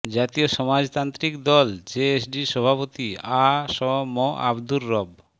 জাতীয় সমাজতান্ত্রিক দল জেএসডি সভাপতি আ স ম আবদুর রব